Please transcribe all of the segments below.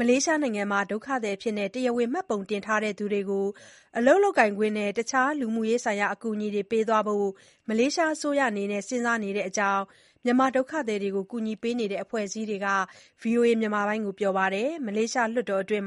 မလေးရှားနိုင်ငံမှာ ဒုက္ခသည်အဖြစ် တရားဝင် မှတ်ပုံတင်ထားတဲ့ သူတွေကို အလုပ်လုပ်ခွင့်နဲ့ တခြားလူမှုရေးဆိုင်ရာ အကူအညီတွေ ပေးသွားဖို့ မလေးရှားအစိုးရ စဉ်းစားနေတဲ့အကြောင်း မြန်မာဒုက္ခသည်ကူညီရေး အဖွဲ့အစည်းတွေက VOA ကို ပြောပါတယ်။ မလေးရှားလွှတ်တော်အတွင်း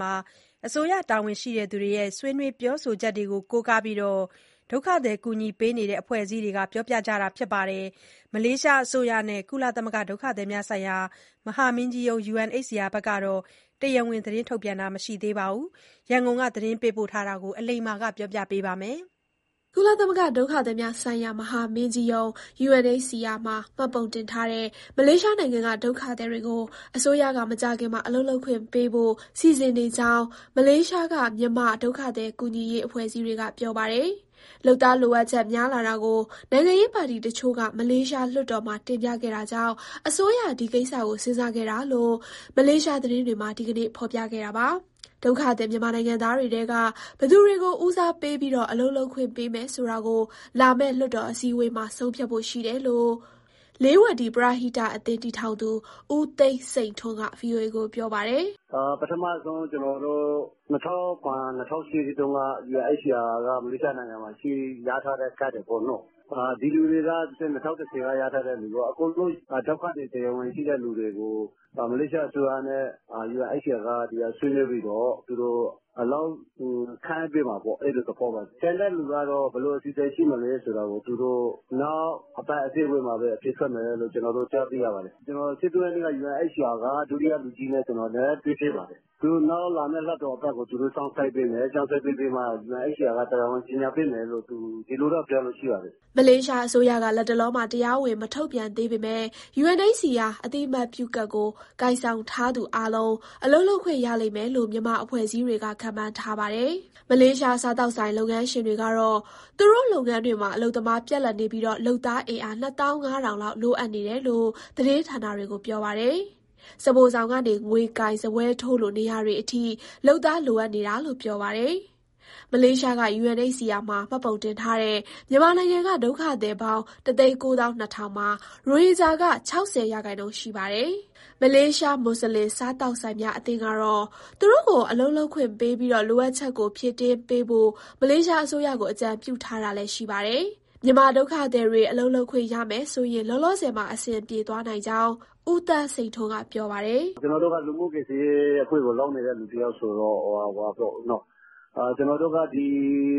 အစိုးရတာဝန်ရှိသူတွေရဲ့ ဆွေးနွေးပြောဆိုချက်တွေကို ကိုးကားပြီး ဒုက္ခသည်ကူညီရေး အဖွဲ့အစည်းတွေက ပြောဆိုကြတာပါ။ မလေးရှားအစိုးရနဲ့ ကုလသမဂ္ဂ ဒုက္ခသည်များဆိုင်ရာ မဟာမင်းကြီးရုံး UNHCR တို့ကတော့ တရားဝင် ထုတ်ပြန်တာ မရှိသေးတဲ့အကြောင်း ရန်ကုန်က သတင်းပေးပို့ထားပါတယ်။ ကုလသမဂ္ဂ ဒုက္ခသည်များဆိုင်ရာ မဟာမင်းကြီးရုံး UNHCR မှာ မှတ်ပုံတင်ထားတဲ့ မလေးရှားနိုင်ငံက ဒုက္ခသည်တွေကို အစိုးရက မကြာခင်မှာ အလုပ်လုပ်ခွင့်ပေးဖို့ စီစဉ်နေကြောင်း မလေးရှားက မြန်မာ ဒုက္ခသည်ကူညီရေး အဖွဲ့အစည်းတွေက ပြောပါတယ်။ လုပ်သားလိုအပ်ချက် များလာတာကို နိုင်ငံရေးပါတီတချို့က မလေးရှားလွှတ်တော်မှာ တင်ပြခဲ့တာကြောင့် အစိုးရ ဒီကိစ္စကို စဉ်းစားခဲ့တာလို့ မလေးရှား သတင်းတွေက ဒီနေ့ ဖော်ပြခဲ့တာပါ။ ဒုက္ခသည် မြန်မာနိုင်ငံသားတွေထဲက ဘယ်သူတွေကို ဦးစားပေးပြီး အလုပ်လုပ်ခွင့် ပေးမယ်ဆိုတာကို လာမယ့်လွှတ်တော် အစည်းအဝေးမှာ ဆုံးဖြတ်ဖို့ရှိတယ်လို့ လေးဝတီ ပရဟိတအသင်း တည်ထောင်သူ ဦးသန်းစိန်ထွန်းက VOA ကို ပြောပါတယ်။ "ပထမဆုံး ကျနော်တို့ ၂၀၀၇၊ ၂၀၀၈ တုန်းက UNHCR မလေးရှားနိုင်ငံမှာ ရထားတဲ့ကတ်တွေပေါ့နော်၊ ဒီလူတွေရော ၂၀၁၀ က ရထားသူတွေရော အကုန်လုံး ဒုက္ခသည်ကတ် တရားဝင်ရှိတဲ့သူတွေကို မလေးရှားအစိုးရနဲ့ UNHCR ဆွေးနွေးပြီးတော့ သူတို့ အလုပ်ခန့်အပ်ပေးမှာပေါ့။ အဲလိုသဘောပါ။ ကျန်တဲ့သူက ဘယ်လိုအစီအစဉ် ရှိမယ်ဆိုတာ သူတို့ နောက်အပတ် အစည်းအဝေးမှာပဲ အဖြေထွက်မယ်လို့ ကျနော်တို့ ကြားသိရပါတယ်။ ကျနော် ၁၃ရက်က UNHCR က ဒုတိယလူကြီးနဲ့ တွေ့ဖြစ်ပါတယ်။ သူတို့ နောက်လာမဲ့ လွှတ်တော်အပတ်ကို သူတို့ စောင့်ဆိုင်းပေးမယ် စောင့်ဆိုင်းပြီးမှ UNHCR က တရားဝင် ကြေညာပေးမယ်လို့ ဒီလိုပြောတာရှိပါတယ်။" မလေးရှားအစိုးရက လတ်တလောမှာ တရားဝင် မထုတ်ပြန်သေးပေမဲ့ UNHCR အသိအမှတ်ပြုကတ်ကို ကိုင်ဆောင်ထားသူအားလုံး အလုပ်လုပ်ခွင့် ရလိမ့်မယ်လို့ မြန်မာအဖွဲ့အစည်းတွေက ခန့်မှန်းထားပါတယ်။ မလေးရှား စားသောက်ဆိုင် လုပ်ငန်းရှင်တွေကတော့ သူတို့လုပ်ငန်းတွေမှာ အလုပ်သမား ပြတ်လပ်နေပြီး လုပ်သားအင်အား ၂၅,၀၀၀ လောက် လိုအပ်နေတယ်လို့ သတင်းဌာနတွေကို ပြောပါတယ်။ စားဖိုဆောင်ကနေ ငွေကိုင်၊ စားပွဲထိုးလို နေရာတွေအထိ လုပ်သား လိုအပ်နေတာလို့ ပြောပါတယ်။ မလေးရှားက UNHCR မှာ မှတ်ပုံတင်ထားတဲ့ မြန်မာနိုင်ငံက ဒုက္ခသည်ပေါင်း ၁၉၂,၀၀၀ မှာ ရိုဟင်ဂျာက ၆၀ရာခိုင်နှုန်းရှိပါတယ်။ မလေးရှား မွတ်ဆလင် စားသောက်ဆိုင်များ အသင်းကတော့ သူတို့ကို အလုပ်လုပ်ခွင့်ပေးပြီး လိုအပ်ချက်ကို ဖြည့်တင်းပေးဖို့ မလေးရှားအစိုးရကို အကြံပြုထားတာလည်း ရှိပါတယ်။ မြန်မာဒုက္ခသည်တွေ အလုပ်လုပ်ခွင့်ရမယ်ဆိုရင် လောလောဆယ်မှာ အဆင်ပြေသွားနိုင်ကြောင်း ဦးသန်းစိန်ထွန်းက ပြောပါတယ်။ "လိုအပ်တာက ကျနော်တို့ လူမှုကူညီရေး လုပ်နေတဲ့သူ တယောက်ဆိုတော့ ဒီ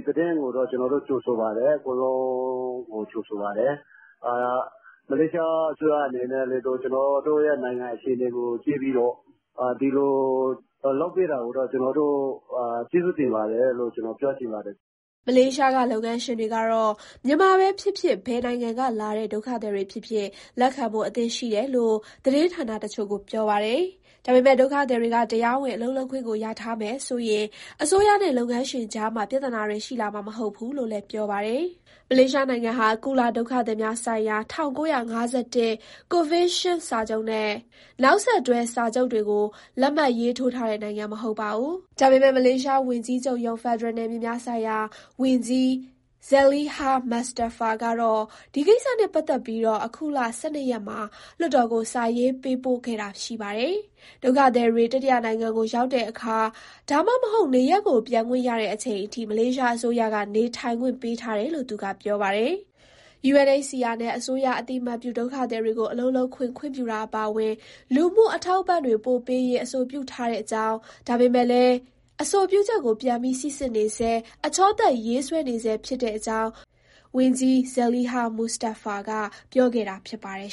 သတင်းကို ကျနော်တို့ ကြိုဆိုပါတယ်။ အကုန်လုံးကို ကြိုဆိုပါတယ်။ မလေးရှားအစိုးရအနေနဲ့ ကျနော်တို့ရဲ့ နိုင်ငံရေး အခြေအနေကို ကြည့်ပြီးတော့ ဒီလိုလုပ်ပေးတာကို ကျနော်တို့ ကျေးဇူးတင်ပါတယ်လို့ ပြောချင်ပါတယ်။" မလေးရှားက လုပ်ငန်းရှင်တွေကတော့ မြန်မာပဲဖြစ်ဖြစ် ဘယ်နိုင်ငံကလာတဲ့ ဒုက္ခသည်တွေဖြစ်ဖြစ် လက်ခံဖို့အဆင့်သင့်ရှိတယ်လို့ သတင်းဌာနတချို့ကို ပြောပါတယ်။ ဒါပေမဲ့ ဒုက္ခသည်တွေက တရားဝင် အလုပ်လုပ်ခွင့်ကို ရထားမယ်ဆိုရင် အစိုးရနဲ့ အလုပ်ရှင်ကြားမှာ ပြဿနာတွေ ရှိလာမှာမဟုတ်ဘူးလို့လည်း ပြောပါတယ်။ မလေးရှားနိုင်ံငံဟာ ကုလဒုက္ခသည်များဆိုင်ရာ ၁၉၅၁ ကွန်ဗင်းရှင်းစာချုပ်နဲ့ နောက်ဆက်တွဲ စာချုပ်တွေကို လက်မှတ်ရေးထိုးထားတဲ့ နိုင်ငံမဟုတ်ပါဘူး။ ဒါပေမဲ့မလေးရှားဝန်ကြီးချုပ်ရုံး၊ ဖက်ဒရယ်နယ်မြေများဆိုင်ရာ ဝန်ကြီး Zaliha Mustafa ကတော့ ဒီကိစ္စနဲ့ပတ်သက်ပြီး အခုလ ၁၂ ရက်မှာ လွှတ်တော်ကို စာရေးပေးပို့ခဲ့တာ ရှိပါတယ်။ ဒုက္ခသည်တွေ တတိယနိုင်ငံကို ရောက်တဲ့အခါ ဒါမှမဟုတ် နေရပ်ကို ပြန်ခွင့်ရတဲ့အချိန်အထိ မလေးရှားအစိုးရက နေထိုင်ခွင့်ပေးထားတယ်လို့ သူကပြောပါတယ်။ UNHCR နဲ့ အစိုးရအသိအမှတ်ပြု ဒုက္ခသည်တွေကို အလုပ်လုပ်ခွင့် ခွင့်ပြုတာ အပါအဝင် လူမှုအထောက်အပံ့တွေ ပိုပေးရေး အဆိုပြုထားတဲ့အကြောင်း ဒါပေမဲ့လည်း အဆိုပြုချက်ကို ပြန်ပြီး စီစစ်နေဆဲ၊ အချောသတ်ရေးဆွဲနေဆဲ ဖြစ်တဲ့အကြောင်း ဝန်ကြီး Zaliha Mustafa က ပြောဆိုခဲ့တာဖြစ်ပါတယ်